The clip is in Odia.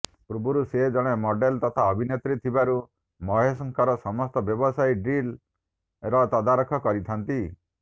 ପୂର୍ବରୁ ସେ ଜଣେ ମଡେଲ ତଥା ଅଭିନେତ୍ରୀ ଥିବାରୁ ମହେଶଙ୍କର ସମସ୍ତ ବ୍ୟବସାୟୀକ ଡିଲ୍ର ତଦାରଖ କରିଥାନ୍ତି